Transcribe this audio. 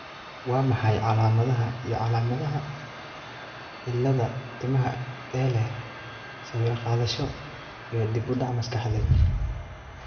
Waa maxay calaamadaha iyo calaamadaha cilladda timaha ee leh sawir-qaadasho iyo dib-u-dhac maskaxeed?